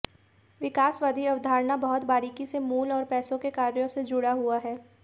विकासवादी अवधारणा बहुत बारीकी से मूल और पैसे के कार्यों से जुड़ा हुआ है